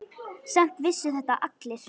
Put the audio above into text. Samt vissu þetta allir.